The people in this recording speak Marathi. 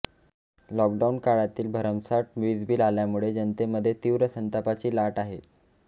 लॉकडाऊन काळातील भरमसाठ वीजबिल आल्यामुळे जनतेमध्ये तीव्र संतापाची लाट आहे